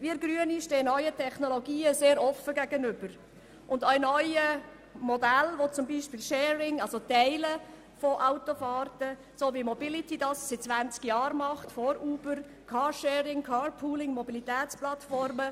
Wir Grünen stehen neuen Technologien und auch neuen Modellen sehr offen gegenüber, beispielsweise dem Teilen von Autofahrten, wie das Mobility seit 20 Jahren macht, sowie dem Carsharing, Carpooling und Mobilitätsplattformen.